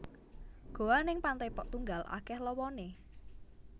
Goa ning Pantai Pok Tunggal akeh lowone